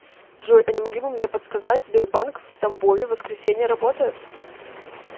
джой а не могли бы мне подсказать сбербанк в тамбове воскресенье работает